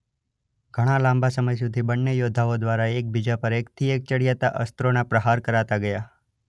ઘણાં લાંબા સમય સુધી બનેં યોદ્ધાઓ દ્વારા એક બીજા પર એકથી એક ચડિયાતા અસ્ત્રોના પ્રહાર કરાતાં ગયાં.